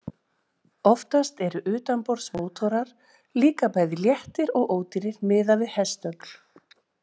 Oftast eru utanborðsmótorar líka bæði léttir og ódýrir miðað við hestöfl.